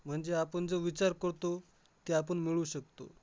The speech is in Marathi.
म्हंजे आपण जो विचार करतो, ते आपण मिळवू शकतो.